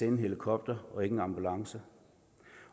en helikopter og ikke en ambulance